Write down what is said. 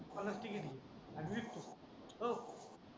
पलक ची केली आणि लिफ्ट आहे ओ